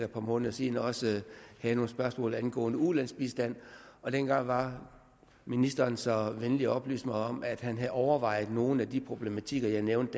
et par måneder siden også havde nogle spørgsmål angående ulandsbistand og dengang var ministeren så venlig at oplyse mig om at han havde overvejet nogle af de problematikker jeg nævnte